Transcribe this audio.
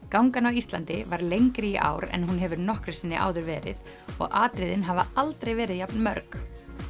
gangan á Íslandi var lengri í ár en hún hefur nokkru sinni áður verið og atriðin hafa aldrei verið jafn mörg